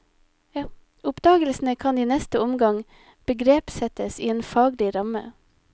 Oppdagelsene kan i neste omgang begrepssettes i en faglig ramme.